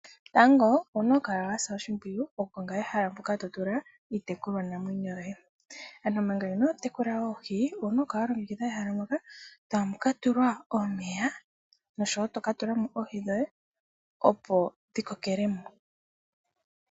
Tango owuna okukala wa sa oshimpiyu okukonga ehala mpoka to tula iitekulwa namwenyo yoye, ano manga inoo tekula oohi owuna okukala wa longekidha ehala moka tamu ka tulwa omeya noshowo to ka tula oohi dhoye opo dhi kokelemo.